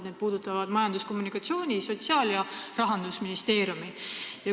See puudutab Majandus- ja Kommunikatsiooniministeeriumi, Sotsiaalministeeriumi ja Rahandusministeeriumi.